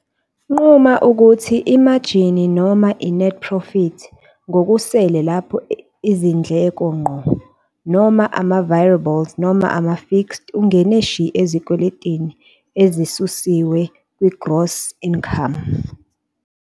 Nquma ukuthi i-margin noma i-net profit ngokusele lapho izindleko ngqo noma ama-virable nama-fixed noma ungene shi ezikweletini ezisusiwe kwi-gross income.